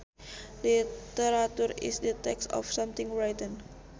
Literature is the text of something written